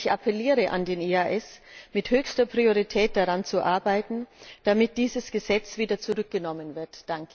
Ich appelliere an den EAS, mit höchster Priorität daran zu arbeiten, dass dieses Gesetz wieder zurückgenommen wird.